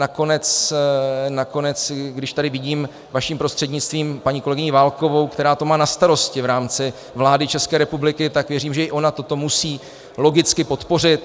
Nakonec, když tady vidím vaším prostřednictvím paní kolegyni Válkovou, která to má na starosti v rámci vlády České republiky, tak věřím, že i ona toto musí logicky podpořit.